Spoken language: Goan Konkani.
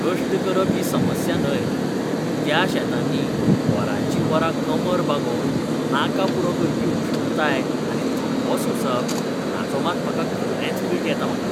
कश्ट करप ही समस्या न्हय, पूण त्या शेतांनी वरांचीं वरां कमर बागोवन, नाका पुरो करपी उश्णताय आनी थकवो सोंसप, हाचो मात म्हाका खरेंच वीट येता म्हाका.